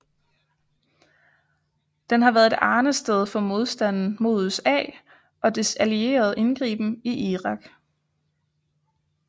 Den har været et arnested for modstanden mod USA og dets allieredes indgriben i Irak